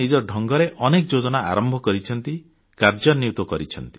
ଢଙ୍ଗରେ ଅନେକ ଯୋଜନା ଆରମ୍ଭ କରିଛନ୍ତି କାର୍ଯ୍ୟାନ୍ୱିତ କରିଛନ୍ତି